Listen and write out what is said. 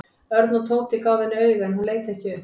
Örn og Tóti gáfu henni auga en hún leit ekki upp.